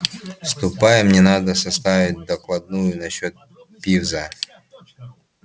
ступай мне надо составить докладную насчёт пивза